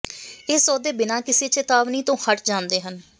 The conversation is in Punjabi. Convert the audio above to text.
ਇਹ ਸੌਦੇ ਬਿਨਾਂ ਕਿਸੇ ਚੇਤਾਵਨੀ ਤੋਂ ਹਟ ਜਾਂਦੇ ਹਨ